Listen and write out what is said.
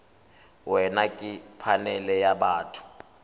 wena ke phanele ya batho